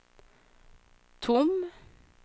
tom